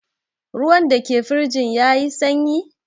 Ruwan da ke firjin ya yi sanyi?